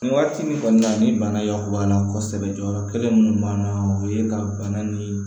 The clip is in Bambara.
Nin waati min kɔni na ni bana y'a banna kosɛbɛ jɔyɔrɔ kelen mun b'an na o ye ka bana ni